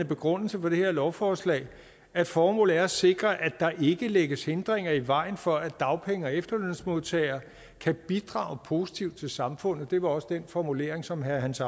begrundelsen for det her lovforslag at formålet er at sikre at der ikke lægges hindringer i vejen for at dagpenge og efterlønsmodtagere kan bidrage positivt til samfundet det var også den formulering som herre hans